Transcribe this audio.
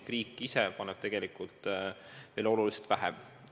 Riik ise paneb tegelikult veel oluliselt vähem.